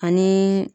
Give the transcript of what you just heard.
Ani